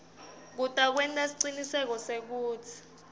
kutawenta siciniseko sekutsi